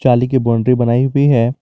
जाली की बाउंड्री बनाई हुई है।